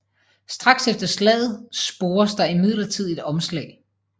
Straks efter slaget spores der imidlertid et omslag